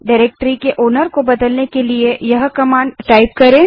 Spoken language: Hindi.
डाइरेक्टरी के मालिकओनर को बदलने के लिए इस कमांड को टाइप करें